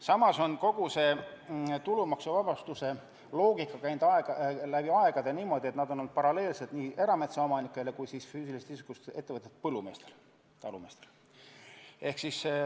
Samas on kogu see tulumaksuvabastuse loogika käinud läbi aegade niimoodi, et neid on saanud paralleelselt nii erametsaomanikud kui ka füüsilisest isikust ettevõtjatest põllumehed, talumehed.